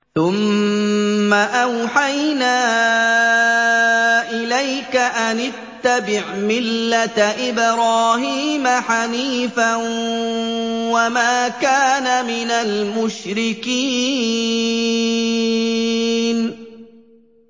ثُمَّ أَوْحَيْنَا إِلَيْكَ أَنِ اتَّبِعْ مِلَّةَ إِبْرَاهِيمَ حَنِيفًا ۖ وَمَا كَانَ مِنَ الْمُشْرِكِينَ